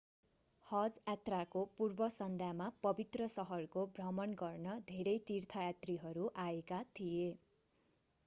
हज यात्राको पूर्व सन्ध्यामा पवित्र शहरको भ्रमण गर्न धेरै तीर्थयात्रीहरू आएका थिए